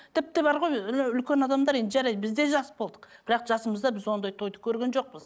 тіпті бар ғой үлкен адамдар енді жарайды біз де жас болдық бірақ жасымызда біз ондай тойды көрген жоқпыз